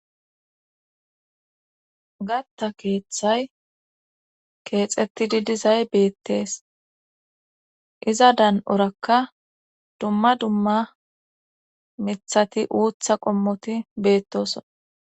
Gathta keethay keexetidi dizay beetees. iza dan'orakka dumma duma mithati uuththaqommoti beetosona.